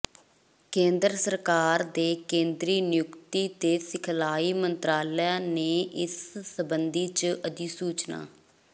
ਕੇਂਦਰ ਸਰਕਾਰ ਦੇ ਕੇਂਦਰੀ ਨਿਯੁਕਤੀ ਤੇ ਸਿਖਲਾਈ ਮੰਤਰਾਲਾ ਨੇ ਇਸ ਸਬੰਧੀ ਚ ਅਧਿਸੂਚਨਾ